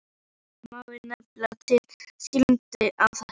Nokkur dæmi má nefna til skýringar á þessu.